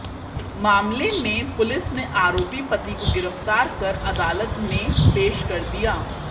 मामले में पुलिस ने आरोपी पति को गिरफ्तार कर अदालत में पेश कर दिया